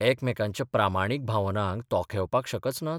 एकमेकांच्या प्रामाणीक भावनांक तोखेवपाक शकच नात?